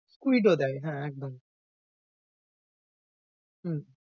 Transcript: squid ও দেয় হ্যাঁ, একদম। হম